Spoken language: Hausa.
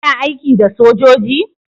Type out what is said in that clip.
kana aiki da sojoji?